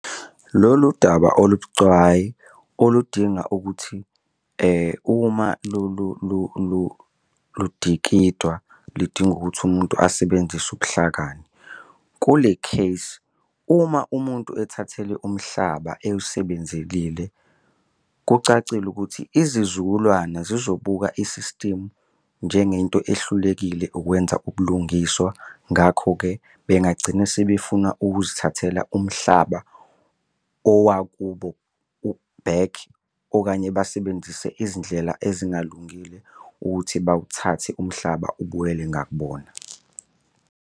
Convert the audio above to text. Lolu daba olubucayi oludinga ukuthi uma ludikidwa lidinga ukuthi umuntu asebenzise ubuhlakani. Kule case uma umuntu ethatheleke umhlaba ewusebenzelile kucacile ukuthi izizukulwane zizobuka i-system njengento ehlulekile ukwenza ubulungiswa. Ngakho-ke bengagcina sebefuna ukuzithathela umhlaba owakubo back okanye basebenzise izindlela ezingalungile ukuthi bawuthathe umhlaba ubuyele ngakubona.